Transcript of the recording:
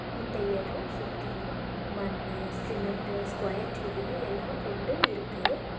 இந்த எடோ சுத்தியு மண்ணு சிமெண்ட்டு ஸ்கொயர் டியூப்புனு எல்லா பொருளு இருக்கு.